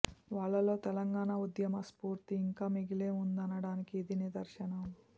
వాళ్లలో తెలంగాణ ఉద్యమ స్ఫూర్తి ఇంకా మిగిలే ఉందనడానికి ఇది నిదర్శనం